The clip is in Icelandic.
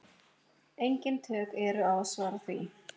Engin tök eru á að svara því.